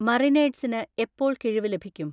മറിനേഡ്സ്ന് എപ്പോൾ കിഴിവ് ലഭിക്കും?